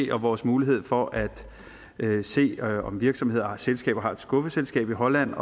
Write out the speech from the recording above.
vores mulighed for at se om selskaber har et skuffeselskab i holland